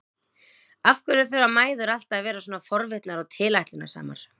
Af hverju þurfa mæður alltaf að vera svona forvitnar og tilætlunarsamar?